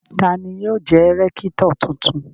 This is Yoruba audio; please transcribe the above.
Ta ni yóò jẹ́ rẹ́kítọ̀ tuntun?